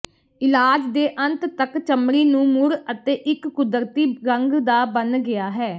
ਇਲਾਜ ਦੇ ਅੰਤ ਤਕ ਚਮੜੀ ਨੂੰ ਮੁੜ ਅਤੇ ਇੱਕ ਕੁਦਰਤੀ ਰੰਗ ਦਾ ਬਣ ਗਿਆ ਹੈ